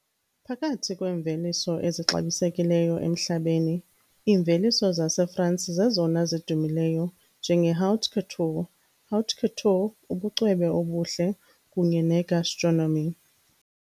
Phakathi kweemveliso ezixabisekileyo emhlabeni, iimveliso zaseFrance zezona zidumileyo njenge-haute couture , haute couture , ubucwebe obuhle kunye ne-gastronomy.